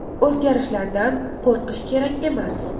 O‘zgarishlardan qo‘rqish kerak emas.